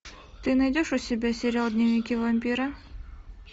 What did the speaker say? ты найдешь у себя сериал дневники вампира